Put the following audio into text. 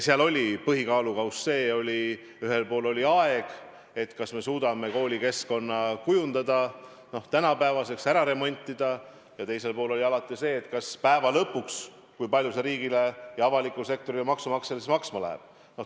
Seal oli põhikaalukauss see: ühel pool oli aeg, kas me suudame koolikeskkonna kujundada tänapäevaseks, ära remontida, ja teisel pool oli alati see, kui palju see lõpuks riigile ja avalikule sektorile, maksumaksjale maksma läheb.